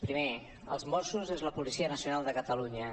primer els mossos és la policia nacional de catalunya